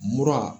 Mura